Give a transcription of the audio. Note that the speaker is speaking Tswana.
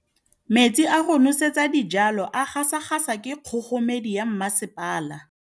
Metsi a go nosetsa dijalo a gasa gasa ke kgogomedi ya masepala.